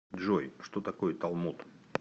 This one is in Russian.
джой что такое талмуд